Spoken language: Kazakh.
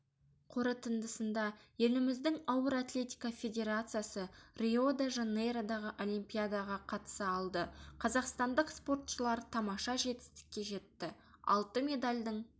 қорытындысында еліміздің ауыр атлетика федерациясы рио-де-жанейродағы олимпиадаға қатыса алды қазақстандық спортшылар тамаша жетістікке жетті алты медальдің